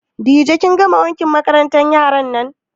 Dije kin gama wankin kayan makarantan yaran nan?